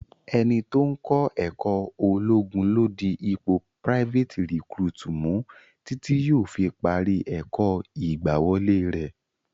Ẹni tó ń kọ ẹ̀kó ológun ló di ipò private recruit mu títí yóò fi parí ẹ̀kọ́ ìgbàwọlé rẹ.